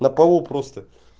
на полу просто